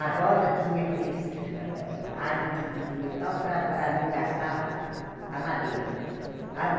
A roda tinha aqueles eh eh aro de de metal para para não gastar a a madeira.